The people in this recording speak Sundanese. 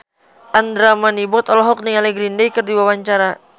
Andra Manihot olohok ningali Green Day keur diwawancara